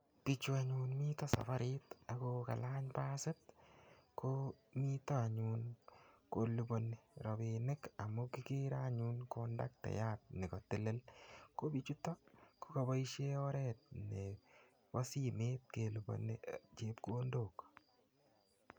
Biichu anyun mito saparit ago kalany pasit ko mito anyun kolupani rapinik amu kikere anyun kondaktayat nekotelel. Ko biichoto ko kaboisie oret nebo simet kelupani chepkondok.